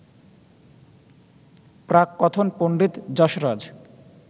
প্রাককথন Pandit Jasraj